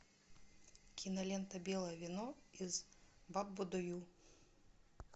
кинолента белое вино из баббудойу